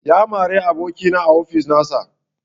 Ya mara abokina a ofis nasa